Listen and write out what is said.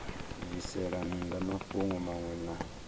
bvisela nnḓa mafhungo maṅwe na